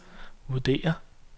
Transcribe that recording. vurderer